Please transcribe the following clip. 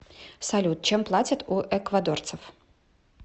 салют чем платят у эквадорцев